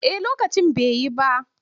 A'a lokacin bai yi ba.